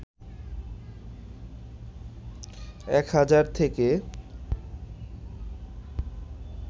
১ হাজার থেকে